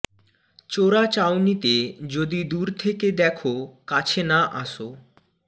চোরা চাউনিতে যদি দূর থেকে দেখ কাছে না আসো